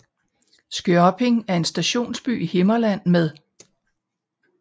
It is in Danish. Skørping er en stationsby i Himmerland med